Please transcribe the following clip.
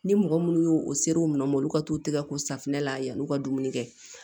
Ni mɔgɔ minnu y'o o sere u nɔ ma olu ka t'u tɛgɛ ko safinɛ la yann'u ka dumuni kɛ